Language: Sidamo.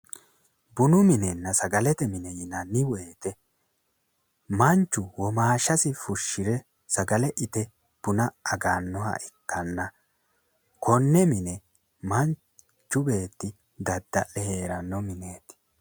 Bunu minenna sagalete mine yinanni woyte manchu womaashasi fushshire sagale ite buna aganniha ikkanna konne mine manchu beetti dadda'le hee'ranno mineeti.